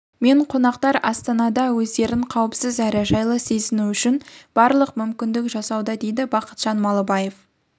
мен қонақтар астанада өздерін қауіпсіз әрі жайлы сезіну үшін барлық мүмкіндікті жасауда дейді бақытжан малыбаев